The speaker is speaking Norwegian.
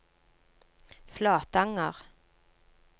Flatanger